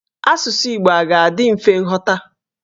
Asụsụ Igbo a ga-adị mfe ịghọta?